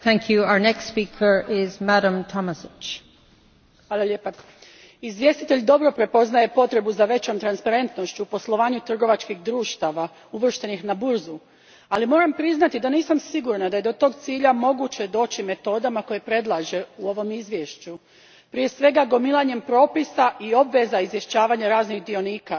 Gospođo predsjednice, izvjestitelj dobro prepoznaje potrebu za većom transparentnošću u poslovanju trgovačkih društava uvrštenih na burzu, ali moram priznati da nisam sigurna da je do tog cilja moguće doći metodama koje predlaže u ovom izvješću prije svega gomilanjem propisa i obveza izvješćivanja raznih dionika.